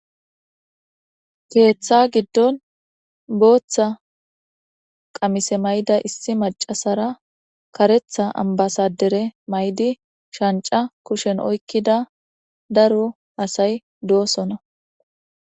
Ketha gidon botha qamise mayida issi Mac,asera karetha ambasadere mayidi shanc,a kushen oyikida daro asayi dosona